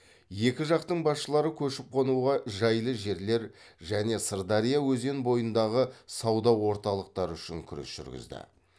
екі жақтың басшылары көшіп қонуға жайлы жерлер және сырдария өзен бойындағы сауда орталықтары үшін күрес жүргізді